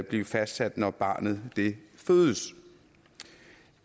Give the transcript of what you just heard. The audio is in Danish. blive fastsat når barnet fødes